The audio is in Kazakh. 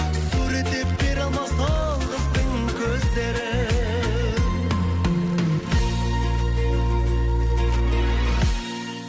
суреттеп бере алмас ол қыздың көздерін